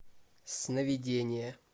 сновидения